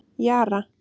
Jara